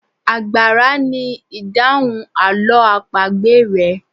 Àgbàrá ni idahun àlọ́ àpagbè rẹ.